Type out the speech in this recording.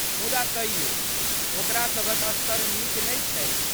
मुदा तइयो ओकरा सभक स्तर नीक नहि छैक।